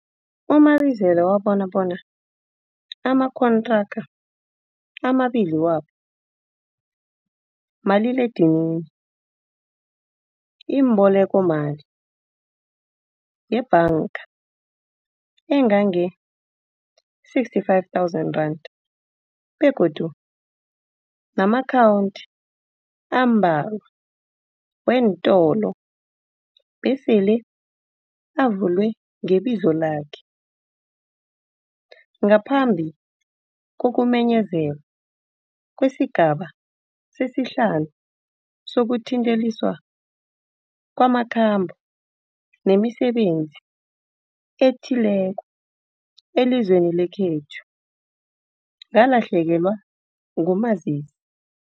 U-Mabitsela wabona bona amakontraka amabili wabo maliledinini, imbolekomali yebhanga engange-R65 000 begodu nama-akhawunti ambalwa weentolo besele avulwe ngebizo lakhe. Ngaphambi kokumenyezelwa kwesiGaba sesiHlanu sokuQinteliswa kwamaKhambo nemiSebenzi eThileko elizweni lekhethu, ngalahlekelwa nguMazisi.